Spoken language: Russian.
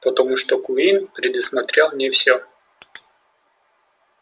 потому что куинн предусмотрел не всё